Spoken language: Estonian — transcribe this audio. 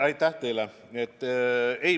Aitäh teile!